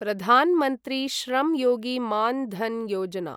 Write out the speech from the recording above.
Pradhan Mantri Shram Yogi Maan Dhan Yojana